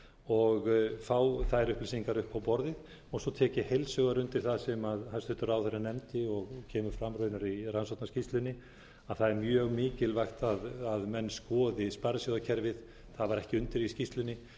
og fá þær upplýsingar upp á borðið svo tek ég heilshugar undir það sem hæstvirtur ráðherranefndi og kemur fram raunar í rannsóknarskýrslunni að það er mjög mikilvægt að menn skoði sparisjóðakerfið það var ekki undir í skýrslunni